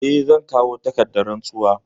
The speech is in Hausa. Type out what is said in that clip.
Eh, zan kawo takardar rantsuwa.